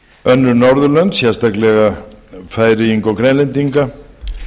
önnur norðurlönd sérstaklega færeyinga og grænlendinga